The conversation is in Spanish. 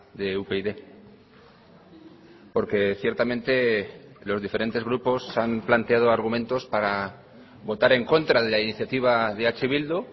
de upyd porque ciertamente los diferentes grupos han planteado argumentos para votar en contra de la iniciativa de eh bildu